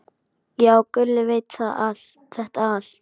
Já, Gulli veit þetta allt.